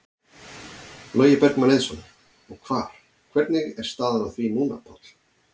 Logi Bergmann Eiðsson: Og hvar, hvernig er staðan á því núna, Páll?